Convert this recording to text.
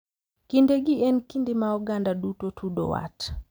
Kindegi en kinde ma oganda duto tudo wat.